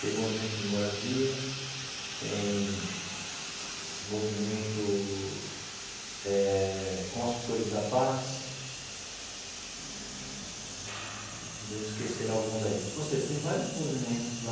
tem movimento de moradia, tem movimento eh Construtores da Paz, devo esquecer alguns aí, ou seja, tem vários movimentos lá.